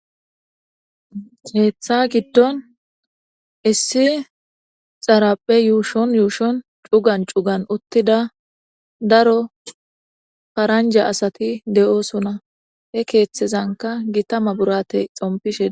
Heththa giddon issi xaraphe yuushon yuushon cugan cugan uttida daro faranja asati de7osuna he keeththezanka gitama burate xompishe.